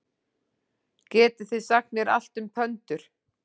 Getið þið sagt mér allt um pöndur?